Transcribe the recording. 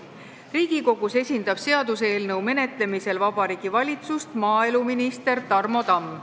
Riigikogus esindab seaduseelnõu menetlemisel Vabariigi Valitsust maaeluminister Tarmo Tamm.